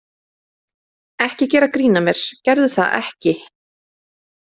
Ekki gera grín að mér, gerðu það ekki.